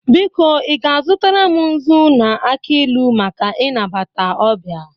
Biko, i ga-azụtara m nzu na aki ilu maka inabata ọbịa